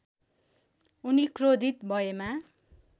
उनी क्रोधित भएमा